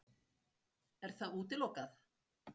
Er það útilokað?